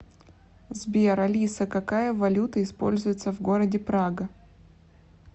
сбер алиса какая валюта используется в городе прага